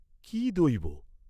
কি দৈব।